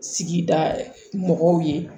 Sigida mɔgɔw ye